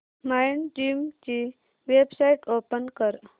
Mindgym ची website open कर